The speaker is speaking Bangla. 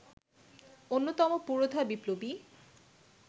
অন্যতম পুরোধা বিপ্লবী